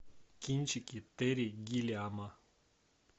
кинчики терри гиллиама